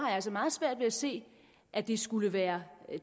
altså meget svært ved at se at det skulle være